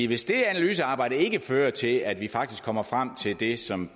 hvis det analysearbejde ikke fører til at vi faktisk kommer frem til det som